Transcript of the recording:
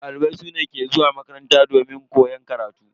Dalibai su ne ke zuwa makaranta domin koyan karatu.